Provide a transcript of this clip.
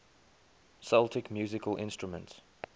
celtic musical instruments